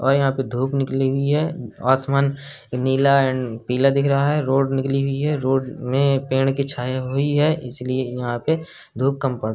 और यहाँ पे धूप निकली हुई है। आसमान नीला एंड पीला दिख रहा है। रोड निकली हुई है। रोड में पेड़ की छाया हुई है। इसलिए यहाँ पे धूप कम पड़ --